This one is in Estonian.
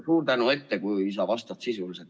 Suur tänu ette, kui sa vastad sisuliselt.